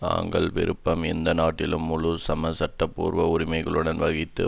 தாங்கள் விரும்பும் எந்த நாட்டிலும் முழு சம சட்டபூர்வ உரிமைகளுடன் வசித்து